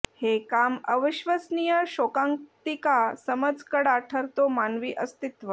हे काम अविश्वसनीय शोकांतिका समज कडा ठरतो मानवी अस्तित्व